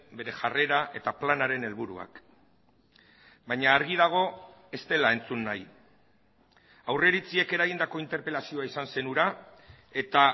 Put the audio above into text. bere jarrera eta planaren helburuak baina argi dago ez dela entzun nahi aurreiritziek eragindako interpelazioa izan zen hura eta